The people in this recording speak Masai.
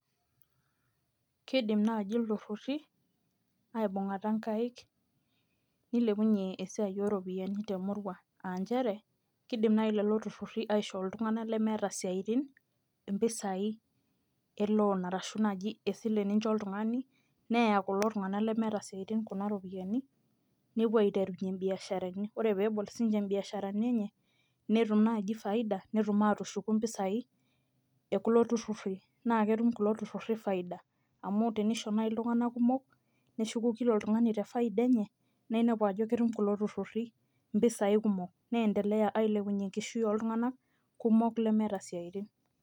kidim naaji iltururi aibungata nkaaik, nilepunye esiai ooropiyiani temurua.aa nchere kidim naaji lelo tururi, aishoo iltungank lemeeta isitin impisai e loan arashu naji esile nicho oltungani, neya kulo tunganak lemeeta isiatin kuna ropiyiani, nepuo aiterunye ibiaasharani, ore pee ebol ibiasharani enye, netum naaji faida, netum aatushuku mpisai ekulo tururi. naa ketum kulo tururi faida. amu tenisho naaji iltunganak kumok, neshuku kila oltungani te faida enye. naa inepu ajo ketum kulo tururi. mpisai kumok. neendelea ailepunye enkishui oltunganak kumok lemeeta isiatin.